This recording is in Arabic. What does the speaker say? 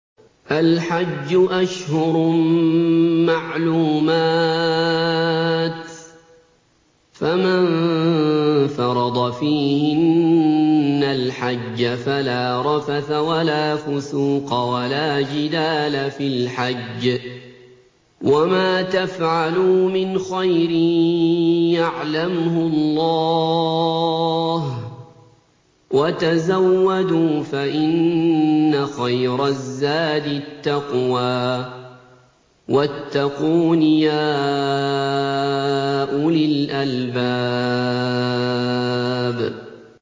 الْحَجُّ أَشْهُرٌ مَّعْلُومَاتٌ ۚ فَمَن فَرَضَ فِيهِنَّ الْحَجَّ فَلَا رَفَثَ وَلَا فُسُوقَ وَلَا جِدَالَ فِي الْحَجِّ ۗ وَمَا تَفْعَلُوا مِنْ خَيْرٍ يَعْلَمْهُ اللَّهُ ۗ وَتَزَوَّدُوا فَإِنَّ خَيْرَ الزَّادِ التَّقْوَىٰ ۚ وَاتَّقُونِ يَا أُولِي الْأَلْبَابِ